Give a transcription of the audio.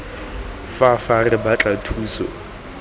fa fa re batla thuso